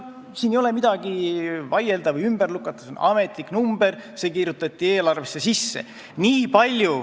Siin ei ole midagi vaielda või ümber lükata, see on ametlik number, see kirjutati eelarvesse sisse.